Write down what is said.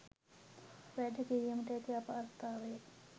වැඩ කිරීමට ඇති අපහසුතාවය